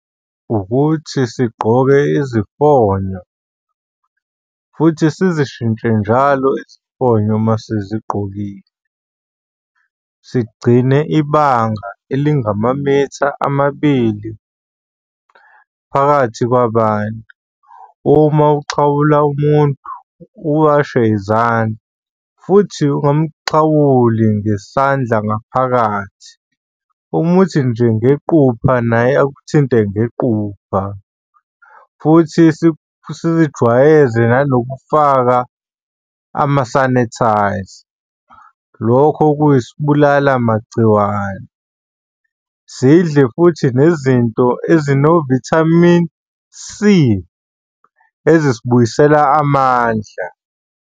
Ukuthi sigqoke izifonyo futhi sizishintshe njalo izifonyo uma sizigqokile. Sigcine ibanga elingamamitha amabili phakathi kwabantu. Uma uxhawula umuntu, uwashe izandla futhi ungamuxhawuli ngesandla ngaphakathi, umuthi nje ngequpha naye akuthinte ngequpha futhi zizijwayeze nanokufaka amasanithayza. Lokho kuyisibulala magciwane. Sidle futhi nezinto ezino-vitamin C, ezisibuyisela amandla.